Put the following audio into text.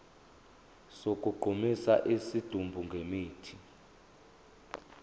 sokugqumisa isidumbu ngemithi